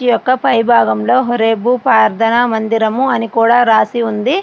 ఈ యొక్క పైభాగంలోని హోరేబు ప్రార్థన మందిరం అని కూడా రాసి ఉంది.